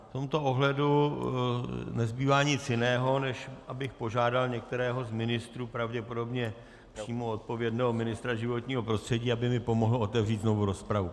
V tomto ohledu nezbývá nic jiného, než abych požádal některého z ministrů, pravděpodobně přímo odpovědného ministra životního prostředí, aby mi pomohl otevřít znovu rozpravu.